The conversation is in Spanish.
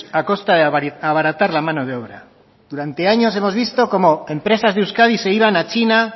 a costa de abaratar la mano de obra durante años hemos visto como empresas de euskadi se iban a china